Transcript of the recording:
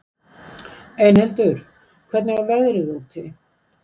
Einhildur, hvernig er veðrið úti?